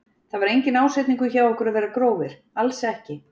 Það var enginn ásetningur hjá okkur að vera grófir, alls ekki.